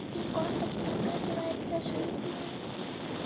прикол так я оказывается жирная